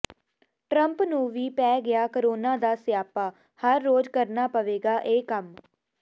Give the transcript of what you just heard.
Trump ਨੂੰ ਵੀ ਪੈ ਗਿਆ ਕਰੋਨਾ ਦਾ ਸਿਆਪਾ ਹਰ ਰੋਜ ਕਰਨਾ ਪਵੇਗਾ ਇਹ ਕੰਮ